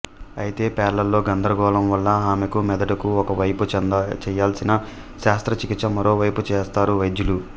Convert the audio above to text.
అయితే పేర్లలో గందరగోళం వల్ల ఆమెకు మెదడుకు ఒక వైపు చేయాల్సిన శస్త్రచికిత్స మరోవైపు చేస్తారు వైద్యులు